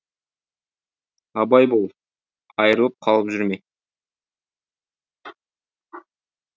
абай бол айрылып қалып жүрме